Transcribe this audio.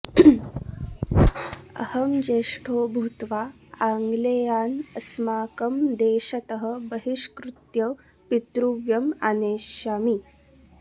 अहं ज्येष्ठो भूत्वा आङ्ग्लेयान् अस्माकं देशतः बहिष्कृत्य पितृव्यम् आनेष्यामि